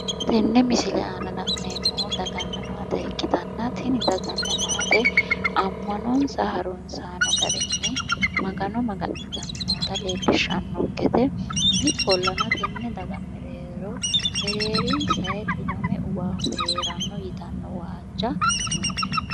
Tenne misile aana la'neemmohu daganna maate ikkitanna tini daganna maate ammanonsa harunsaano garinni magano maga'nitanni noota leellishshannonkete ikkollana tenne daga mereero mereerinsayi dhiwame uwannohu heeranno yitanno waajja noo"e.